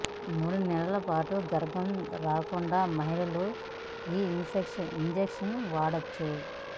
మూడు నెలల పాటు గర్భం రాకుండా మహిళలు ఈ ఇంజెక్షన్ వాడొచ్చు